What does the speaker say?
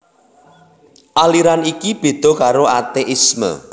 Aliran iki béda karo ateisme